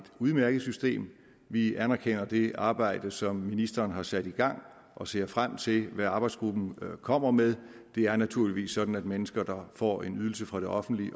udmærket system vi anerkender det arbejde som ministeren har sat i gang og ser frem til hvad arbejdsgruppen kommer med det er naturligvis sådan at mennesker der får en ydelse fra det offentlige